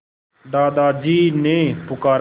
दादाजी ने पुकारा